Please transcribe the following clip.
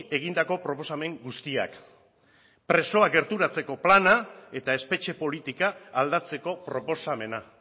egindako proposamen guztiak presoak gerturatzeko plana eta espetxe politika aldatzeko proposamena